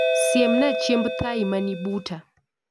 Siemna chiemb thai mani buta